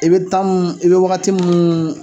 I be m i be wagati nn